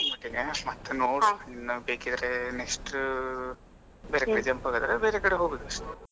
ಮತ್ತೆ ನೋಡ್ ಇನ್ನು ಬೇಕಿದ್ರೆnext ಬೇರೆ ಕಡೆ jump ಆಗದಿದ್ರೆ ಬೇರೆ ಕಡೆ ಹೋಗುವುದ್ ಅಷ್ಟೇ.